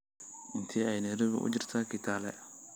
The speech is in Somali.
Intee ayay Nayroobi u jirtaa Kitale?